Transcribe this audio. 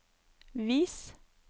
vis